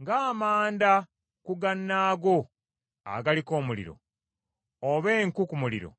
Ng’amanda ku gannaago agaliko omuliro, oba enku ku muliro,